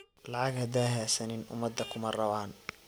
Lacag hadha hasanin umada kumarawan.